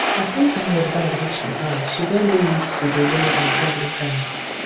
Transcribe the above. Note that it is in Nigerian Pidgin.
as internet bad reach for house she don dey used to dey learn on top internet